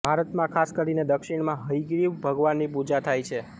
ભારતમાં ખાસ કરીને દક્ષિણમાં હયગ્રીવ ભગવાનની પૂજા થાય છે